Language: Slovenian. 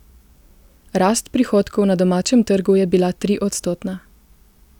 Rast prihodkov na domačem trgu je bila triodstotna.